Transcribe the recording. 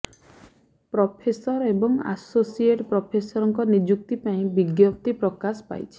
professor ଏବଂ associate ପ୍ରଫେସରଙ୍କ ନିଯୁକ୍ତି ପାଇଁ ବିଜ୍ଞପ୍ତି ପ୍ରକାଶ ପାଇଛି